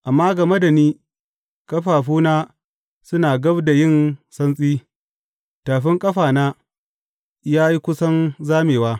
Amma game da ni, ƙafafuna suna gab da yin santsi; tafin ƙafana ya yi kusan zamewa.